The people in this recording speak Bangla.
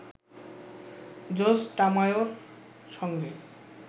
জোজ টামায়োর সঙ্গে